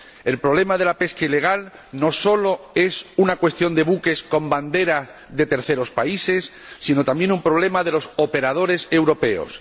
El problema de la pesca ilegal no solo es una cuestión de buques con bandera de terceros países sino también un problema de los operadores europeos.